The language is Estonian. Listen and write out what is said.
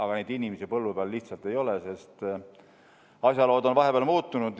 Aga neid inimesi põllu peal lihtsalt ei ole, sest asjalood on vahepeal muutunud.